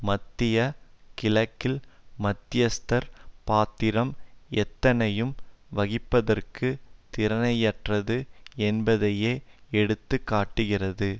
மத்திய கிழக்கில் மத்தியஸ்தர் பாத்திரம் எதனையும் வகிப்பதற்கு திராணியற்றது என்பதையே எடுத்து காட்டுகிறது